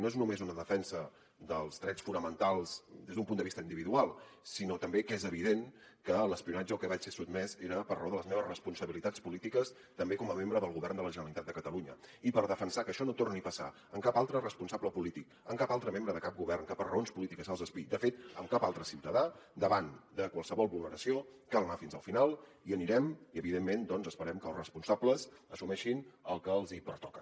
no és només una defensa dels drets fonamentals des d’un punt de vista individual sinó també que és evident que l’espionatge al que vaig ser sotmès era per raó de les meves responsabilitats polítiques també com a membre del govern de la generalitat de catalunya i per defensar que això no torni a passar amb cap altre responsable polític amb cap altre membre de cap govern que per raons polítiques se’ls espiï de fet amb cap altre ciutadà davant de qualsevol vulneració cal anar fins al final i hi anirem i evidentment doncs esperem que els responsables assumeixin el que els pertoca